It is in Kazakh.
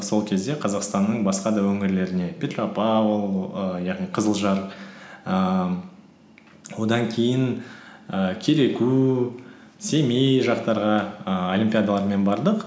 сол кезде қазақстанның басқа да өңірлеріне петропавл ііі яғни қызылжар ііі одан кейін і кереку семей жақтарға ііі олимпиадалармен бардық